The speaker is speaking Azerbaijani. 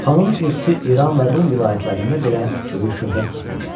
Xanın ilxısı İran və Rum vilayətlərində belə böyük şöhrət tapmışdı.